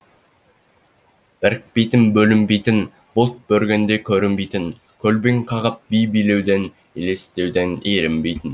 бірікпейтін бөлінбейтін бұлт бүргенде көрінбейтін көлбең қағып би билеуден елестеуден ерінбейтін